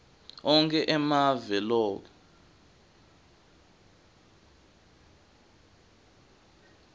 onkhe emave loke